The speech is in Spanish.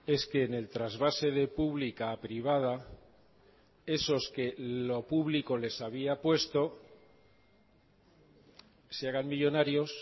es que en el trasvase de pública a privada esos que lo público les había puesto se hagan millónarios